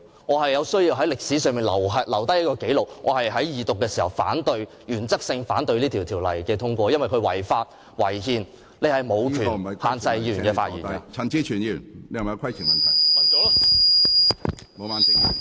我有需要在歷史上留下這紀錄，述明在法案二讀時，我是在原則上反對這項《條例草案》通過，因為這項《條例草案》違法、違憲。